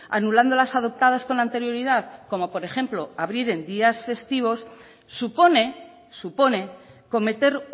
anulando las adoptadas con anterioridad como por ejemplo abrir en días festivos supone supone cometer